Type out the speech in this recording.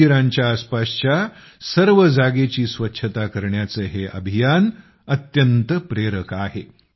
मंदिरांच्या आसपासच्या सर्व जागेची स्वच्छता करण्याचं हे अभियान अत्यंत प्रेरक आहे